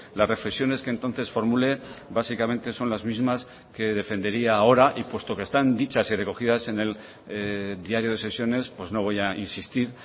las reflexiones que entonces formulé básicamente son las mismas que defendería ahora y puesto que están dichas y recogidas en el diario de sesiones pues no voy a insistir